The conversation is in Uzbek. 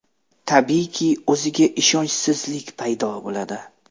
Tabiiyki, o‘ziga ishonchsizlik paydo bo‘ladi.